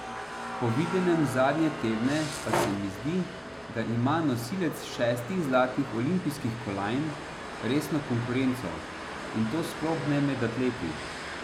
Po videnem zadnje tedne pa se zdi, da ima nosilec šestih zlatih olimpijskih kolajn resno konkurenco, in to sploh ne med atleti.